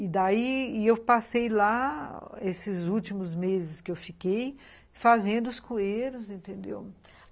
E daí, eu passei lá, esses últimos meses que eu fiquei, fazendo os coeiros, entendeu?